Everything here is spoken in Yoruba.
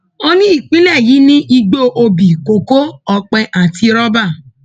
ó ní ìpínlẹ yìí ni igbó òbí kókó ọpẹ àti rọbà